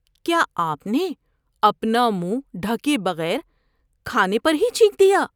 کیا آپ نے اپنا منہ ڈھکے بغیر کھانے پر ہی چھینک دیا؟